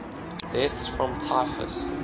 deaths from typhus